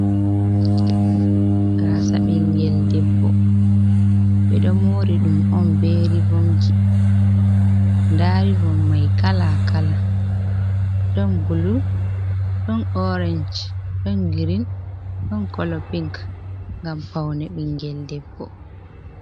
Gasa ɓingel debbo. Ɓeɗo mori ɗum on be rivomji. Nda rivom mai kala-kala ɗon bulu, don orange, ɗon girin, ɗon kolo pink ngam paune ɓingel debbo.